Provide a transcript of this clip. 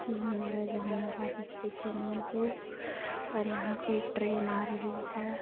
ये हमारा जहानाबाद स्टेशन है जो और यहाँ पर ट्रेन आ रही है।